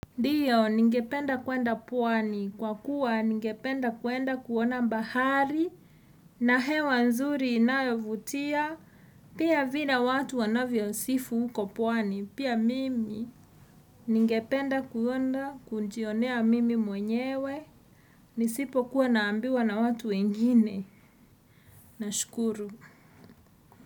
Dio, ningependa kuenda pwani, kwa kuwa ningependa kuenda kuona mbahari, na hewa nzuri inayovutia, pia vile watu wanavyo sifu huko pwani, pia mimi ningependa kuenda kujionea mimi mwenyewe, nisipo kuwa naambiwa na watu wengine, na shukuru.